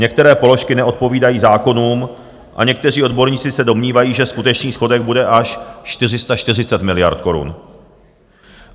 Některé položky neodpovídají zákonům a někteří odborníci se domnívají, že skutečný schodek bude až 440 miliard korun.